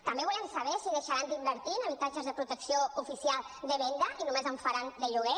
també volem saber si deixaran d’invertir en habitatges de protecció oficial de venda i només en faran de lloguer